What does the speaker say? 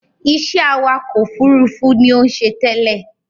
Iṣẹ́ awakọ̀ òfurufú ni ó ń ṣe tẹ́lẹ̀